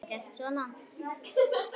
Þinn sonur, Jón Árni.